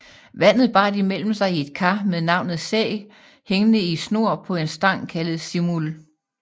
Vandet bar de mellem sig i et kar med navnet Sæg hængende i snor på en stang kaldet Simul